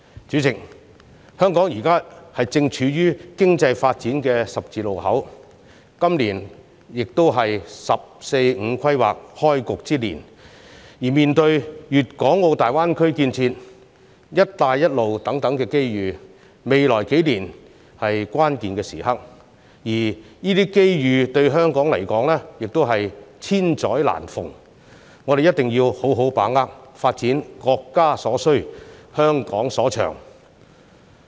主席，香港正處於經濟發展的十字路口，今年亦是"十四五"規劃開局之年，而面對粵港澳大灣區建設、"一帶一路"等機遇，未來數年是關鍵時刻，而這些機遇對香港而言，也是千載難逢，我們一定要好好把握，發展國家所需、香港所長。